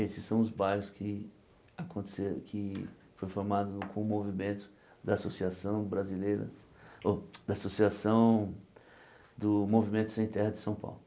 Esses são os bairros que aconteceram que foram formados com o movimento da Associação Brasileira, ô da Associação do Movimento Sem Terra de São Paulo.